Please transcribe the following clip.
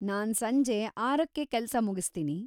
ನಾನ್‌ ಸಂಜೆ ಆರಕ್ಕೆ ಕೆಲ್ಸ ಮುಗಿಸ್ತೀನಿ.